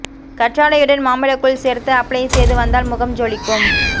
கற்றாழையுடன் மாம்பழ கூழ் சேர்த்து அப்ளை செய்து வந்தால் முகம் ஜொலிக்கும்